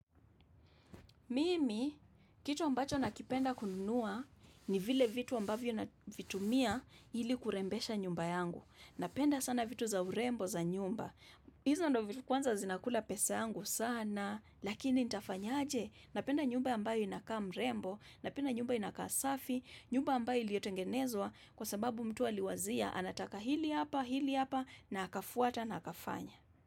Mimi, kitu ambacho nakipenda kununua ni vile vitu ambavyo na vitumia ili kurembesha nyumba yangu. Napenda sana vitu za urembo za nyumba. Hizo ndo vitu kwanza zinakula pesa yangu sana, lakini nitafanya aje. Napenda nyumba ambayo inakaa mrembo, napenda nyumba inakaa safi, nyumba ambayo iliyotengenezwa kwa sababu mtu aliwazia anataka hili hapa, hili hapa, na akafuata na hakafanya.